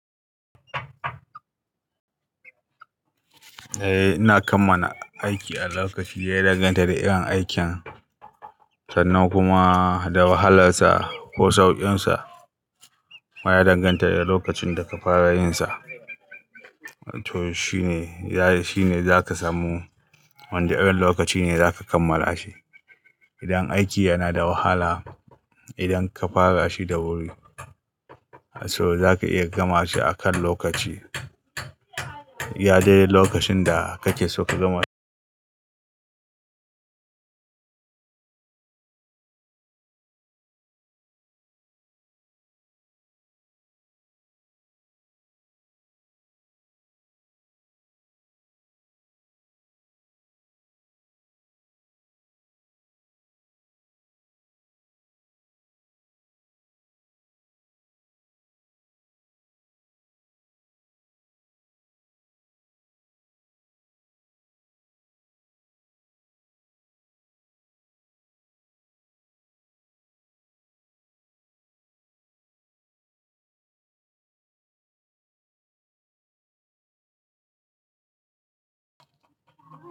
Eh, ina kammala aiki a lokaci ya danganta da irin aikin sannan kuma da wahalarsa ko saukinsa. Wa ya danganta da lokacin da ka fara yinsa. To shine, shine zaka samu wanda irin lokaci ne zaka kammala shi. Idan aiki yana da wahala, idan ka fara shi da wuri, to zaka iya gama shi a kan lokaci. Iya dai lokacin da kake so ka gama shi.